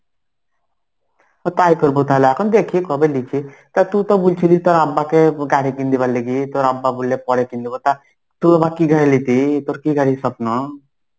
ও তাই করবো তাহলে. এখন দেখি কবে লিছি. তা তুই তো বলছিলিস তোর আব্বাকে গাড়ি কিনতে পারলি কি? তোর আব্বা বললে পরে কিনবো তা তুই আবার গাড়ি লিটি? তোর কি গাড়ির স্বপ্ন?